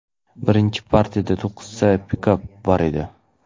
Birinchi partiyada to‘qqizta pikap bor edi.